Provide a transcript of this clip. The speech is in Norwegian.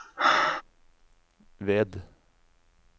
ved